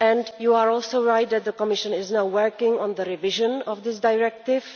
You are also right that the Commission is now working on the revision of this directive.